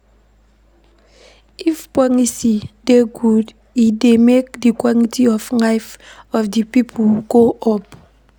If policy dey good e dey make di quality of life of di pipo go up